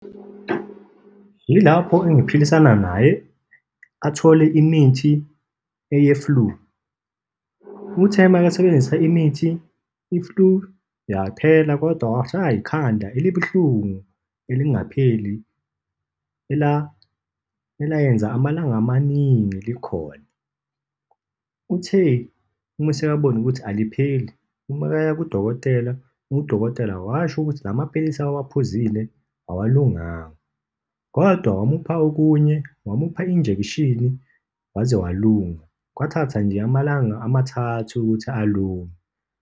Yilapho engiphilisana naye athole imithi eye-flu. Uthe makasebenzisa imithi, i-flu yaphela, kodwa washaywa ikhanda elibuhlungu, elingapheli, elayenza amalanga amaningi likhona. Uthe uma esekabona ukuthi alikapheli, uma kaya kudokotela, udokotela washo ukuthi la maphilisi awaphuzile awalunganga, kodwa wamupha okunye, wamupha injekshini, waze walunga. Kwathatha nje amalanga amathathu ukuthi alunge.